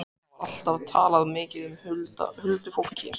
En það var alltaf talað mikið um huldufólk hér.